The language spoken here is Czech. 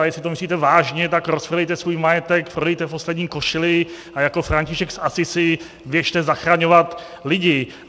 A jestli to myslíte vážně, tak rozprodejte svůj majetek, prodejte poslední košili a jako František z Assisi běžte zachraňovat lidi.